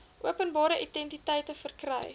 openbare entiteite verkry